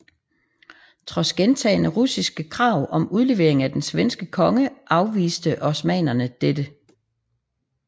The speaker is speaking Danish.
Trods gentagne russiske krav om udlevering af den svenske konge afviste osmannerne dette